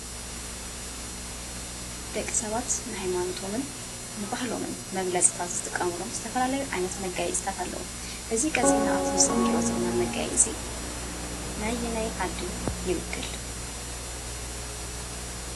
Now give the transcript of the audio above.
ደቂ ሰባት ንሃይማነቶምን ንባህሎምን መግለፂ ካብ ዝጥቀምሉ ዝተፈላለዩ ዓይነት መግለፂታት ኣለዉ፡፡ እዚ ቀፂልና ኣብ እቲ ምስሊ ንሪኦ ዘለና መጋየፂ ነየናይ ዓዲ ይውክል ፡፡